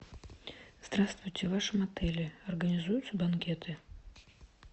здравствуйте в вашем отеле организуются банкеты